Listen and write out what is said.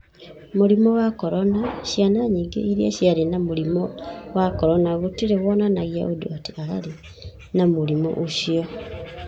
Mũrimũ wa Corona: Ciana nyingĩ iria ciarĩ na mũrimũ wa corona gũtiarĩ wonanagia ũndũ atĩ aarĩ na mũrimũ ũcio.